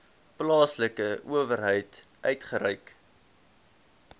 plaaslike owerheid uitgereik